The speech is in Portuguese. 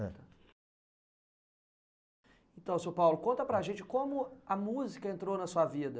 Eh. Então, seu Paulo, conta para a gente como a música entrou na sua vida.